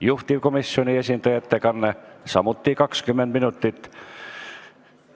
Juhtivkomisjoni esindaja ettekanne kestab samuti kuni 20 minutit.